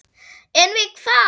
En við hvað?